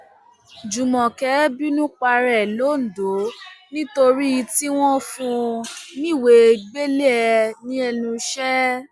jùmọkẹ bínú para ẹ londo nítorí tí wọn fún un níwèé gbélé ẹ lẹnu iṣẹ